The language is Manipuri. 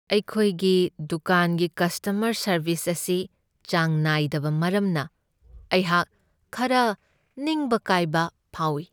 ꯑꯩꯈꯣꯏꯒꯤ ꯗꯨꯀꯥꯟꯒꯤ ꯀꯁꯇꯃꯔ ꯁꯔꯕꯤꯁ ꯑꯁꯤ ꯆꯥꯡ ꯅꯥꯏꯗꯕ ꯃꯔꯝꯅ ꯑꯩꯍꯥꯛ ꯈꯔ ꯅꯤꯡꯕ ꯀꯥꯏꯕ ꯐꯥꯎꯢ ꯫